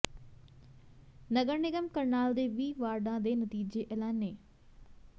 ਨਗਰ ਨਿਗਮ ਕਰਨਾਲ ਦੇ ਵੀਹ ਵਾਰਡਾਂ ਦੇ ਨਤੀਜੇ ਐਲਾਨੇ